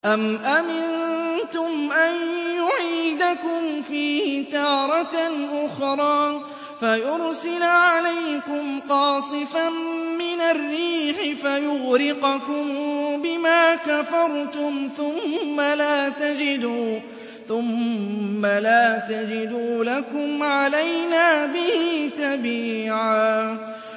أَمْ أَمِنتُمْ أَن يُعِيدَكُمْ فِيهِ تَارَةً أُخْرَىٰ فَيُرْسِلَ عَلَيْكُمْ قَاصِفًا مِّنَ الرِّيحِ فَيُغْرِقَكُم بِمَا كَفَرْتُمْ ۙ ثُمَّ لَا تَجِدُوا لَكُمْ عَلَيْنَا بِهِ تَبِيعًا